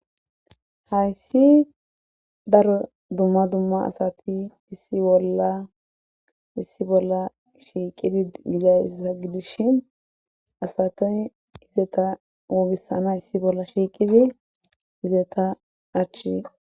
hayssi daro dumma dumma asati issi bolla issi bolla shiiqidi gidayissa gidishin asatoy hizeta woogisana issi bolla shiiqidi izeta achi